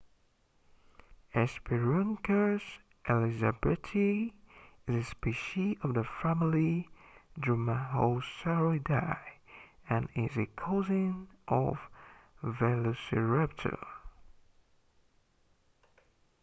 hesperonychus elizabethae is a species of the family dromaeosauridae and is a cousin of velociraptor